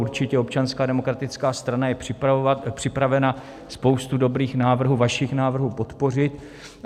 Určitě Občanská demokratická strana je připravena spoustu dobrých návrhů, vašich návrhů, podpořit.